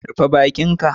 Rufe baki ka.